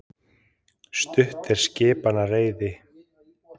Stutt er skipmanna reiði.